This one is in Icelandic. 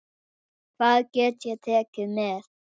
Hvað get ég tekið með?